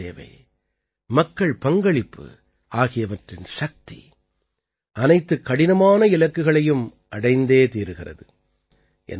மக்கள் சேவை மக்கள் பங்களிப்பு ஆகியவற்றின் சக்தி அனைத்துக் கடினமான இலக்குகளையும் அடைந்தே தீருகிறது